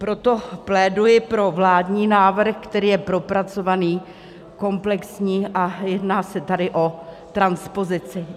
Proto pléduji pro vládní návrh, který je propracovaný, komplexní a jedná se tady o transpozici.